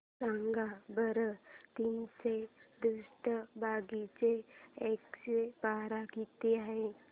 सांगा बरं तीनशे त्रेसष्ट भागीला एकशे बारा किती आहे